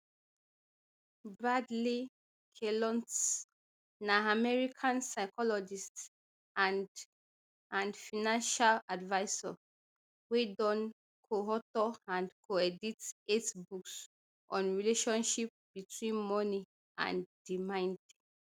bradley klontz na american psychologist and and financial advisor wey don coauthor and coedit eight books on relationship between money and di mind